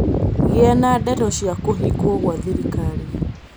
gīa na ndeto cia kūhingwo gwa thirikari